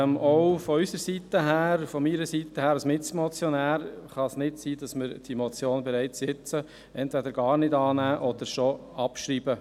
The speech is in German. Auch aus meiner Sicht als Mitmotionär darf es nicht sein, dass wir diese Motion entweder gar nicht annehmen oder schon jetzt abschreiben.